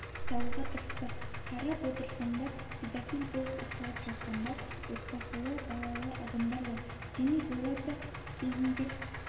салуға тырыстық қарап отырсаңыз педофил болып ұсталып жатқандар отбасылы балалы адамдар ғой демек олар да кезінде